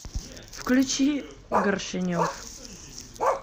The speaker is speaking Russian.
включи горшенев